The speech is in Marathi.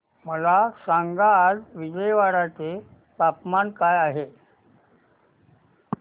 मला सांगा आज विजयवाडा चे तापमान काय आहे